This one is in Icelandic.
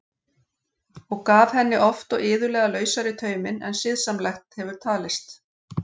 Og gaf henni oft og iðulega lausari tauminn en siðsamlegt hefur talist.